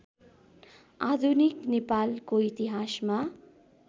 आधुनिक नेपालको इतिहासमा